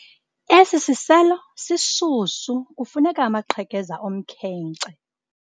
Esi siselo sishushu kufuneka amaqhekeza omkhenkce.